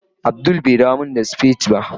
Abdul bai dawo min spad spade